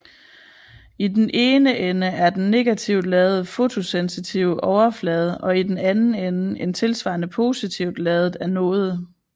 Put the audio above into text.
I den ene ende er den negativt ladede fotosensitive overflade og i den anden ende en tilsvarende positivt ladet anode